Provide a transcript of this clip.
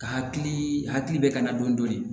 Ka hakili hakilila don dɔɔnin